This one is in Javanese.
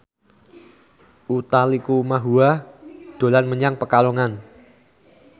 Utha Likumahua dolan menyang Pekalongan